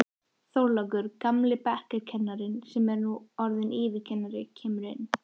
Þorlákur, gamli bekkjarkennarinn sem nú er orðinn yfirkennari, kemur inn.